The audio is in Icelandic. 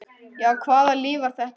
Já, hvaða líf var þetta?